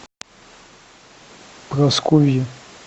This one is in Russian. прасковьи